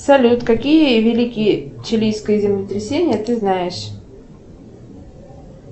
салют какие великие чилийские землетрясения ты знаешь